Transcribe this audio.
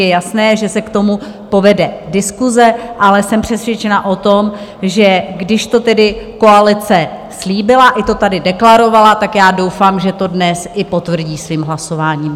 Je jasné, že se k tomu povede diskuse, ale jsem přesvědčena o tom, že když to tedy koalice slíbila i to tady deklarovala, tak já doufám, že to dnes i potvrdí svým hlasováním.